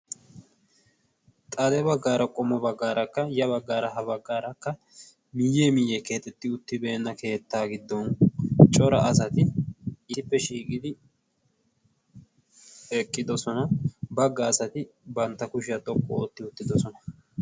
Xaale baggaara qomo baggaarakka ya baggaara ha baggaarakka miyyee miyyee kehatetti uttibeenna keettaa giddon cora asati iippe shiigidi eqqidosona bagga asati bantta kushiyaa toqqu ootti uttidosona.